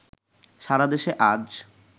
সারাদেশে আজ